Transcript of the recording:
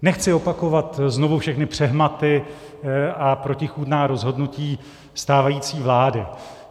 Nechci opakovat znovu všechny přehmaty a protichůdná rozhodnutí stávající vlády.